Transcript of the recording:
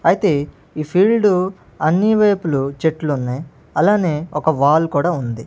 అయితే ఈ ఫీల్డ్ అన్ని వైపులు చెట్లు ఉన్నాయ్ అలానే ఒక వాల్ కూడా ఉంది.